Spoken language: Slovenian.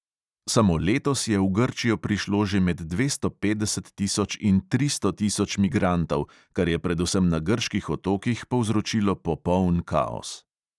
Samo letos je v grčijo prišlo že med dvesto petdeset tisoč in tristo tisoč migrantov, kar je predvsem na grških otokih povzročilo popoln kaos.